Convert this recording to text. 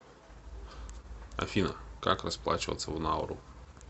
афина как расплачиваться в науру